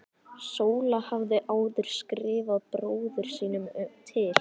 Sóla hafði áður skrifað bróður sínum til